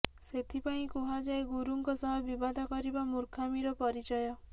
ସେଥିପାଇଁ କୁହାଯାଏ ଗୁରୁଙ୍କ ସହ ବିବାଦ କରିବା ମୂର୍ଖାମିର ପରିଚୟ